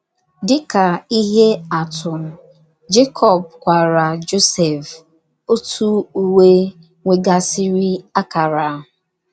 Dị ka ihe atụ, Jekọb kwaara Josef otu uwe nwegasịrị akara.